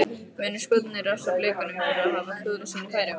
Munu Skotarnir refsa Blikunum fyrir að hafa klúðrað sínum færum?